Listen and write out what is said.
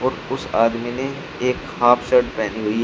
उस आदमी ने एक हाफ शर्ट पहनी हुई है।